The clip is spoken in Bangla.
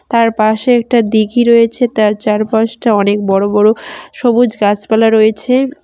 তার পাশে একটা দিঘি রয়েছে তার চারপাশটা অনেক বড় বড় সবুজ গাছপালা রয়েছে।